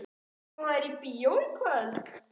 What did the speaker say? Má ég bjóða þér í bíó í kvöld?